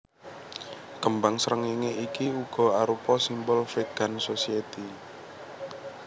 Kembang srengéngé iki uga arupa simbol Vegan Society